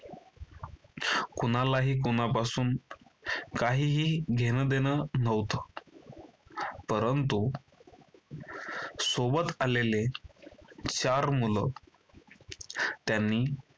कुणालाही कोणापासून काहीही घेणंदेणं नव्हतं. परंतु सोबत आलेले चार मुलं. त्यांनी